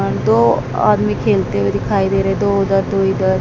दो आदमी खेलते हुए दिखाई दे रहे है दो उधर दो इधर।